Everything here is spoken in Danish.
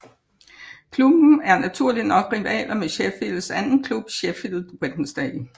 Klubben er naturligt nok rivaler med Sheffields anden klub Sheffield Wednesday